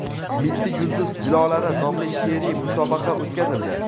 "Mitti yulduz jilolari" nomli she’riy musobaqa o‘tkazildi.